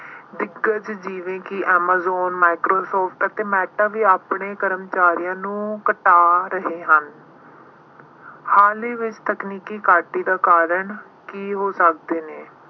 ਦਿੱਗਜ਼ ਜਿਵੇਂ ਕਿ Amazon, Microsoft ਅਤੇ Meta ਵੀ ਆਪਣੇ ਕਰਮਚਾਰੀਆਂ ਨੂੰ ਘਟਾ ਰਹੇ ਹਨ। ਹਾਲ ਹੀ ਵਿੱਚ ਤਕਨੀਕੀ ਘਾਟੇ ਦੇ ਕਾਰਨ ਕੀ ਹੋ ਸਕਦੇ ਨੇ।